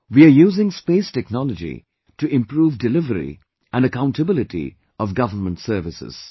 We are using Space Technology to improve delivery and accountability of government services